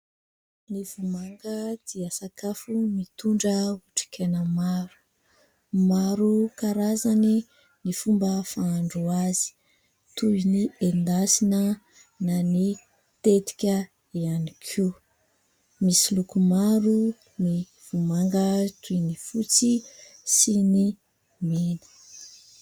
Ny vomanga dia sakafo mitondra otrikaina maro. Maro karazany ny fomba fandrahoana azy, toy ny endasina ; na ny tetika ihany koa. Misy loko maro ny vomanga, toy ny : fotsy sy ny mena.